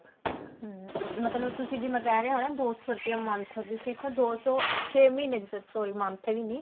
ਹਮ ਮਤਲਬ ਤੁਸੀਂ ਜਿਵੇਂ ਕਹਿ ਰਹੇ ਹੋ ਨਾ ਦੋ ਸੋ ਰੁਪਿਆ month ਦੀ ਸਿਰਫ ਦੋ ਸੋ ਛੇ ਮਹੀਨੇ ਦੀ sorry month ਵੀ ਨੀ